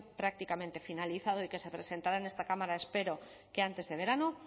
prácticamente finalizado y que se presentará en esta cámara espero que antes de verano